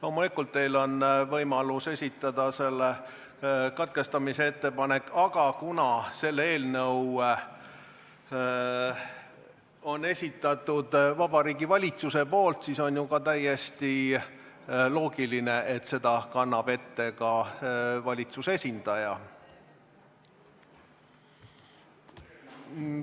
Loomulikult on teil võimalus esitada katkestamise ettepanek, aga kuna selle eelnõu on esitanud Vabariigi Valitsus, siis on ju ka täiesti loogiline, et selle kannab ette valitsuse esindaja.